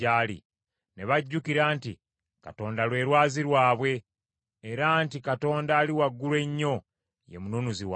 Ne bajjukira nti Katonda lwe Lwazi lwabwe; era nti Katonda Ali Waggulu Ennyo ye Mununuzi waabwe.